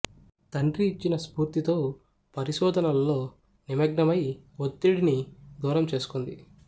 తండ్రి ఇచ్చిన స్పూర్తితో పరిశోధనలలో నిమగ్నమై వత్తిడిని దూరం చేసుకుంది